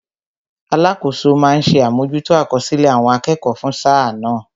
Alakoso ma ń ṣe àmójútó àkọsílẹ̀ àwọn akẹ́kọ̀ọ́ fún sáà náà